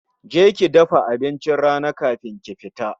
Je ki dafa abincin rana kafin ki fita